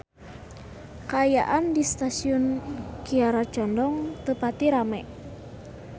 Kaayaan di Stasiun Kiara Condong teu pati rame